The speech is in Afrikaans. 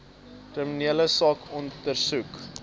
kriminele saak ondersoek